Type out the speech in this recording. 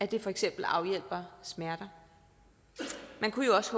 det for eksempel afhjælper smerter man kunne jo også